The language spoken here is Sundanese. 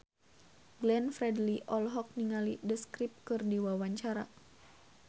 Glenn Fredly olohok ningali The Script keur diwawancara